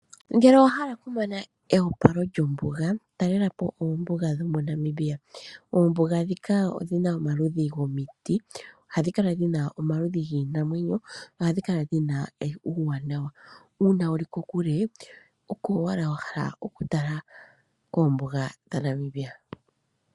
Ngele owa hala okumona eyopalo lyombuga, talelapo oombuga dho moNamibia. Oombuga dhika odhina omaludhi gomiti, ohadhi kala dhina omaludhi giinamwenyo, ohadhi kala dhina uuwanawa. Uuna wuli kokule, oko owala wa hala okutala koombuga dhaNamibia.